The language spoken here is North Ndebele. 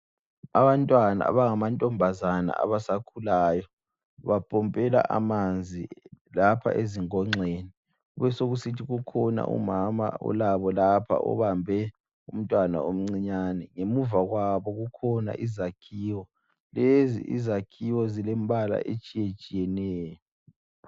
Abantwana abangamantombazana abasakhulayo bapompela amanzi lapha ezinkonxeni. Kube sokusithi kukhona umama olabo lapha obambe umntwana omncinyane, ngemuva kwabo kukhona izakhiwo. Lezi izakhiwo zilembala etshiyetshiyeneyo.